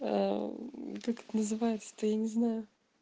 как это называется это я не знаю